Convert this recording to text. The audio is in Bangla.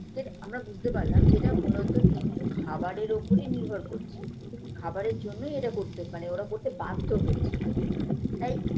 ফের আমরা বুঝতে পারলাম যে এটা মূলত কিন্তু খাবারের ওপরেই নির্ভর করছে খাবারের জন্যই এটা করতে মানে ওরা করতে বাধ্য হচ্ছে তাই